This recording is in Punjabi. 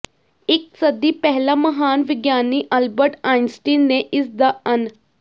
ਇਕ ਸਦੀ ਪਹਿਲਾਂ ਮਹਾਨ ਵਿਗਿਆਨੀ ਅਲਬਰਟ ਆਇੰਸਟੀਨ ਨੇ ਇਸ ਦਾ ਅਨ